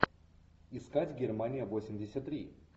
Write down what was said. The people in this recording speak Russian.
искать германия восемьдесят три